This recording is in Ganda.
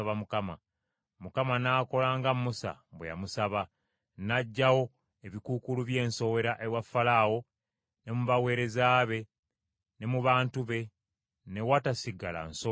Mukama n’akola nga Musa bwe yamusaba, n’aggyawo ebikuukuulu by’ensowera ewa Falaawo ne mu baweereza be, ne mu bantu be; ne watasigala nsowera n’emu.